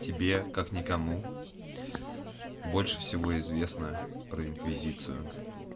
тебе как никому больше всего известно про инквизицию